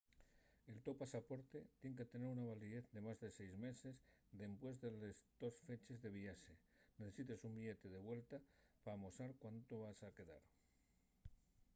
el to pasaporte tien que tener una validez de más de 6 meses dempués de les tos feches de viaxe necesites un billete de vuelta p'amosar cuánto vas quedar